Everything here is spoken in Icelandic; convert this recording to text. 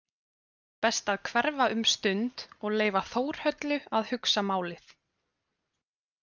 Best að hverfa um stund og leyfa Þórhöllu að hugsa málið.